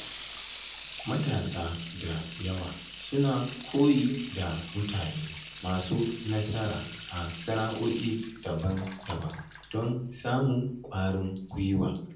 Matasa da yawa suna koyi da mutane masu nasara a sana’o’i daban-daban don samun ƙwarin gwiwa.